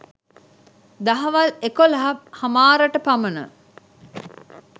දහවල් එකොලහ හමාරට පමණ